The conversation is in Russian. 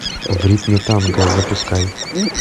в ритме танго запускай